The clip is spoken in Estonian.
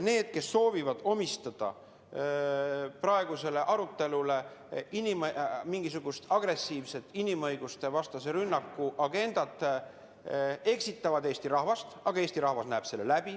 Need, kes soovivad praegusele arutelule omistada mingisugust agressiivset inimõigustevastase rünnaku agendat, eksitavad Eesti rahvast, aga Eesti rahvas näeb selle läbi.